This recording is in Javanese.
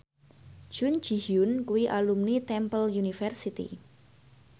Jun Ji Hyun kuwi alumni Temple University